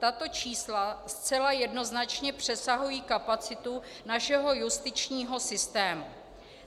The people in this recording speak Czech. Tato čísla zcela jednoznačně přesahují kapacitu našeho justičního systému.